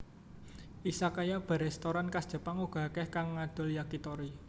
Izakaya bar restoran khas Jepang uga akèh kang ngadol Yakitori